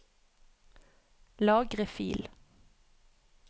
Lagre fil